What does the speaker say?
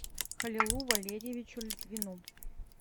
халилу валерьевичу литвину